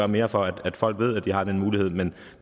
mere for at folk ved at de har den mulighed men